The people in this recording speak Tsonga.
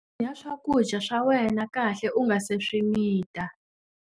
Cakunya swakudya swa wena kahle u nga si swi mita.